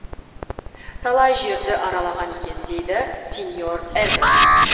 талай жерді аралаған екен дейді сеньор эрберт